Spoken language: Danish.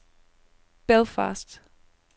Belfast